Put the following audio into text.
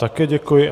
Také děkuji.